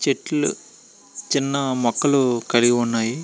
చెట్లు చిన్న మొక్కలు కలిగి ఉన్నాయి.